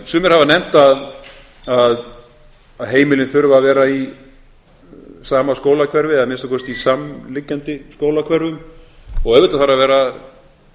sumir hafa nefnt að heimilin þurfi að vera í sama skólahverfi eða að minnsta kosti í samliggjandi skólahverfum og auðvitað þarf að vera